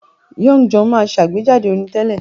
Young John máa àgbéjáde orin tẹ́lẹ̀